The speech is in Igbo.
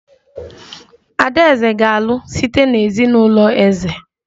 Adaeze ga-alụ site na ezinụlọ eze